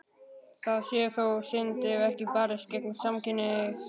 Það sé þó synd ef ekki sé barist gegn samkynhneigð.